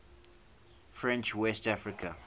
french west africa